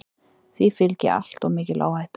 Því fylgi alltof mikil áhætta.